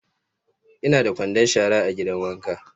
Ina da kwandon shara a gidan wanka.